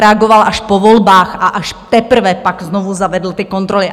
Reagoval až po volbách a až teprve pak znovu zavedl ty kontroly.